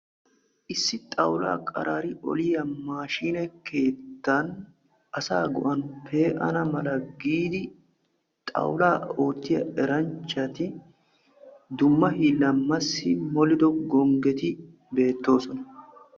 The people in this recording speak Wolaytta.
Issi xaawulla qaraari oliyaa maashshinne keettan asa go"ani pe"anna malla giidi xawulla oottiya eranchchatti dumma hiillan massi moliddo gonggetti beettosona.